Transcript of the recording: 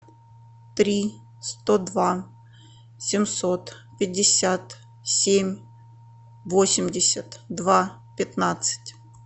три сто два семьсот пятьдесят семь восемьдесят два пятнадцать